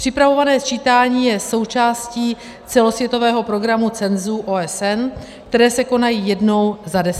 Připravované sčítání je součástí celosvětového programu cenzů OSN, které se konají jednou za deset let.